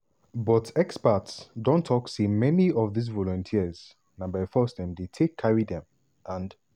but experts dey tok say many of dis volunteers na by force dem take carry dem and